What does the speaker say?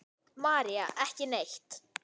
María: Ekki neitt.